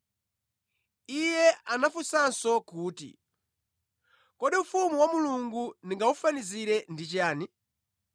Iye anafunsanso kuti, “Kodi ufumu wa Mulungu ndingawufanizire ndi chiyani?